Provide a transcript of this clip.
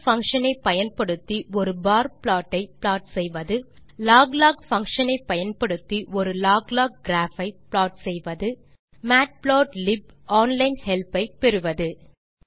bar function ஐ பயன்படுத்தி ஒரு பார் ப்ளாட் ஐ ப்ளாட் செய்வது 4loglog பங்ஷன் ஐ பயன்படுத்தி ஒரு log லாக் கிராப் ஐ ப்ளாட் செய்வது 5மேட்புளாட்லிப் ஆன்லைன் ஹெல்ப் ஐ பெறுவது